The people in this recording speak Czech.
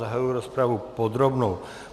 Zahajuji rozpravu podrobnou.